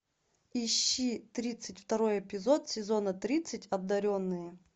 ищи тридцать второй эпизод сезона тридцать одаренные